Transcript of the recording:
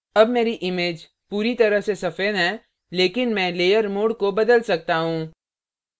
अब मेरी image पूरी तरह से सफेद है लेकिन मैं layer mode को बदल सकता हूँ